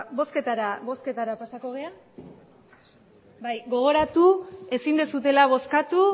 bozketara pasako gara bai gogoratu ezin duzuela bozkatu